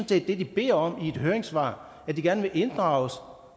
det de beder om i et høringssvar at de gerne vil inddrages når